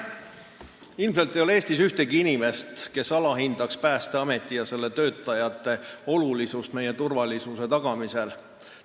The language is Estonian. Ilmselt ei ole Eestis ühtegi inimest, kes alahindab Päästeameti ja selle töötajate olulisust meie turvalisuse tagamisel.